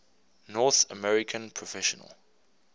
north american professional